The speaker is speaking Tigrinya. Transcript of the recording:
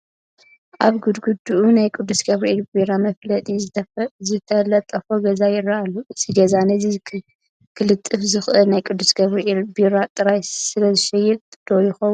ኣብ ግድግድኡ ናይ ቅዱስ ጊዮርጊስ ቢራ መፋለጢ ዝተለጠፎ ገዛ ይርአ ኣሎ፡፡ እዚ ገዛ ነዚ ክልጥፍ ዝኸኣለ ናይ ቅዱስ ጊዮርጊስ ቢራ ጥራሕ ስለዝሸይጥ ዶ ይኸውን?